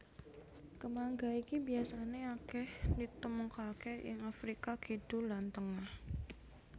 Kemangga iki biasané akèh ditemokaké ing Afrika Kidul lan Tengah